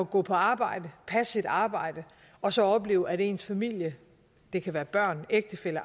gå på arbejde passe sit arbejde og så opleve at ens familie det kan være børn en ægtefælle